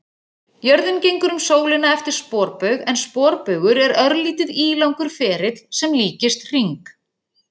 Jörðin gengur um sólina eftir sporbaug en sporbaugur er örlítið ílangur ferill sem líkist hring.